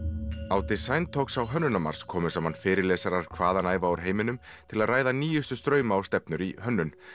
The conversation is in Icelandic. á talks á Hönnunarmars komu saman fyrirlesarar hvaðanæva úr heiminum til að ræða nýjustu strauma og stefnur í hönnun